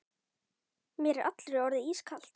Mér er allri orðið ískalt.